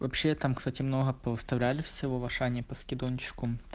вообще там кстати много повыставляли всего в ашане по скидончику